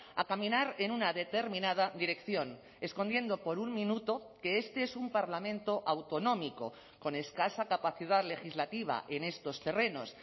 a caminar en una determinada dirección escondiendo por un minuto que este es un parlamento autonómico con escasa capacidad legislativa en estos terrenos